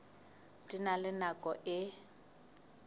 di na le nako e